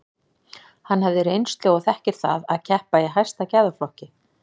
Hann hefur reynslu og þekkir það að keppa í hæsta gæðaflokki.